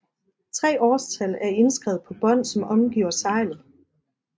Tre årstal er indskrevet på bånd som omgiver seglet